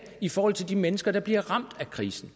i forhold til de mennesker der bliver ramt af krisen